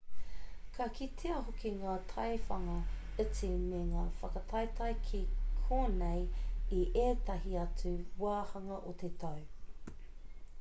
ka kitea hoki ngā taiwhanga iti me ngā whakataetae ki konei i ētahi atu wāhanga o te tau